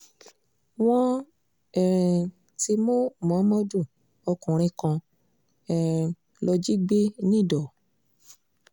wọ́n um ti mú muhammadu ọkùnrin kan um lọ jí gbé nìdọ̀